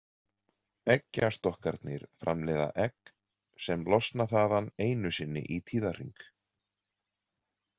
Eggjastokkarnir framleiða egg sem losna þaðan einu sinni í tíðahring.